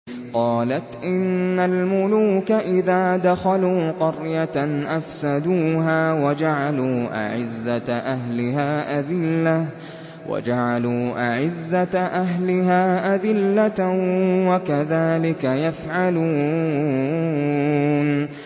قَالَتْ إِنَّ الْمُلُوكَ إِذَا دَخَلُوا قَرْيَةً أَفْسَدُوهَا وَجَعَلُوا أَعِزَّةَ أَهْلِهَا أَذِلَّةً ۖ وَكَذَٰلِكَ يَفْعَلُونَ